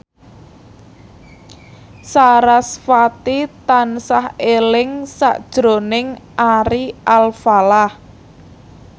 sarasvati tansah eling sakjroning Ari Alfalah